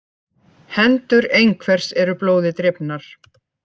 Hendur einhvers eru blóði drifnar